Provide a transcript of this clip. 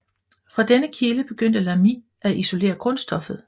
Fra denne kilde begyndte Lamy at isolere grundstoffet